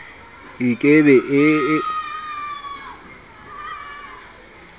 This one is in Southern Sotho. e ke be e e